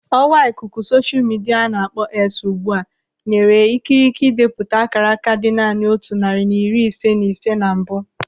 Ọwa ikuku sosha midia a na-akpọ X ugbu a nyere ikikere idepụta ákàrákà dị naanị otu narị na iri ise na ise na mbụ.